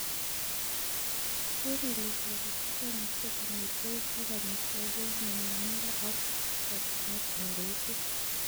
Keer ile toritik komuche konyor beek ak amitwogik en nyumyumindo ak chokchinet ingoituu.